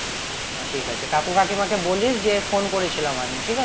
ঠিক আছে কাকু কাকিমা কে বলিস যে phone করেছিলাম আমি ঠিক আছে